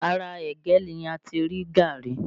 Ara ẹ̀gẹ́ ni ati rí gàárì